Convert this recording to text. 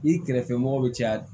I kɛrɛfɛ mɔgɔ be caya